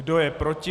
Kdo je proti?